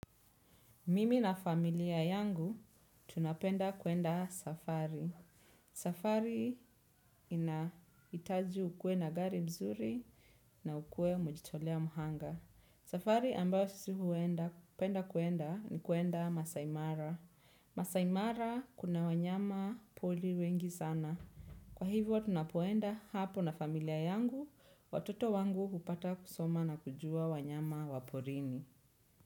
Mimi na familia yangu, tunapenda kuenda safari. Safari ina itaji ukwe na gari mzuri na ukuwe umejitolea muhanga. Safari ambayo sisi huenda, penda kuenda, ni kuenda masaimara. Masaimara kuna wanyama poli wengi sana. Kwa hivyo, tunapoenda hapo na familia yangu, watoto wangu upata kusoma na kujua wanyama waporini.